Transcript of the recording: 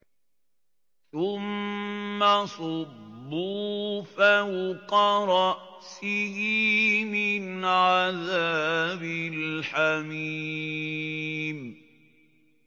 ثُمَّ صُبُّوا فَوْقَ رَأْسِهِ مِنْ عَذَابِ الْحَمِيمِ